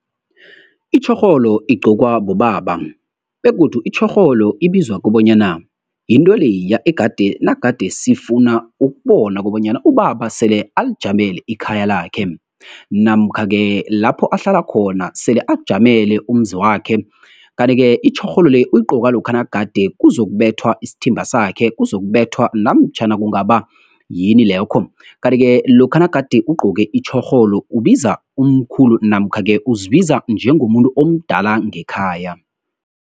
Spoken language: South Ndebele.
Itjhorholo igqokwa bobaba, begodu itjhorholo ibizwa kobanyana yinto leya nagade sifuna ukubona kobanyana ubaba sele alijamele ikhaya lakhe, namkha -ke lapho ahlala khona, sele akujamele umuzi wakhe. Kanti-ke itjhorholo le, uyigqoka lokha nagade kuzokubethwa isthimba sakhe, kuzokubetha namtjhana kungaba yini lokho. Kanti-ke, lokha nagade ugcoke itjhorholo, ubiza umkhulu, namkha-ke, uzibiza njengomuntu omdala ngekhaya.